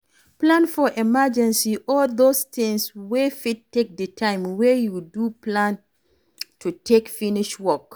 Plan for emergency or those things wey fit take di time wey you don plan to take finish work